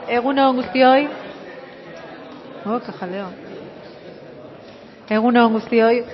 egun on guztioi oh qué jaleo egun on guztioi